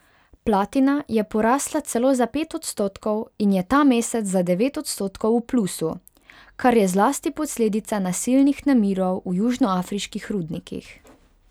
Platina je porasla celo za pet odstotkov in je ta mesec za devet odstotkov v plusu, kar je zlasti posledica nasilnih nemirov v južnoafriških rudnikih.